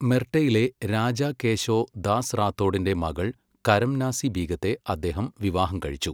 മെർട്ടയിലെ രാജാ കേശോ ദാസ് റാത്തോഡിന്റെ മകൾ കരംനാസി ബീഗത്തെ അദ്ദേഹം വിവാഹം കഴിച്ചു.